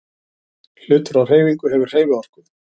Hlutur á hreyfingu hefur hreyfiorku.